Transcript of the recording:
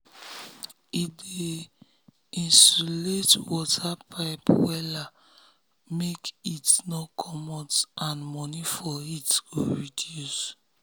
he dey insulate insulate water pipe wella make heat no comot and money for heat go reduce.